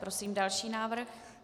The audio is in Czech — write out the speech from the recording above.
Prosím další návrh.